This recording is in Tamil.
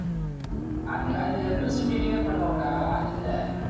அது அது representative யே பண்ணுவாங்கடா அது இல்லை.